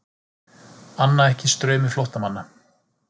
Anna ekki straumi flóttamanna